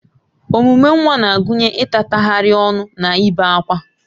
Omume nwa na-agụnye ịtatagharị ọnụ na ibe ákwá